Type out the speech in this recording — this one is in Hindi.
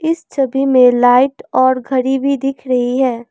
इस छवि में लाइट और घड़ी भी रहीं है।